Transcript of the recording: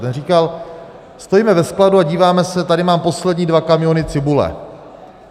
Ten říkal, stojíme ve skladu a díváme se: Tady mám poslední dva kamiony cibule.